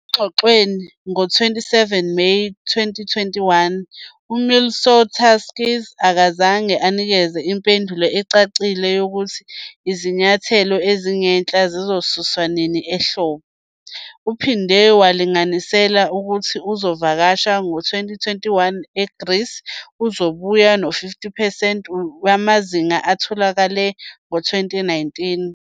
Engxoxweni ngo-27 Meyi 2021, uMitsotakis akazange anikeze impendulo ecacile yokuthi izinyathelo ezingenhla zizosuswa nini ehlobo. Uphinde walinganisela ukuthi ezokuvakasha ngo-2021 eGreece zizoba ngu-50 percent wamazinga atholakele ngo-2019.